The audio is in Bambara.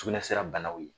Sugunɛsira banaw ye